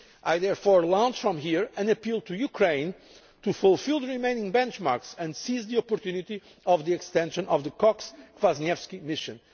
partnerships. I therefore launch, from here, an appeal to Ukraine to fulfil the remaining benchmarks and seize the opportunity of the extension of the Cox Kwaśniewski